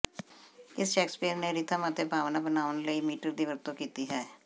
ਕਿਸ ਸ਼ੇਕਸਪੀਅਰ ਨੇ ਰਿਥਮ ਅਤੇ ਭਾਵਨਾ ਬਣਾਉਣ ਲਈ ਮੀਟਰ ਦੀ ਵਰਤੋਂ ਕੀਤੀ ਹੈ